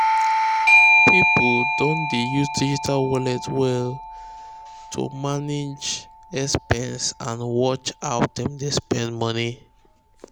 people don dey use digital wallet to manage expense and watch how dem dey spend money.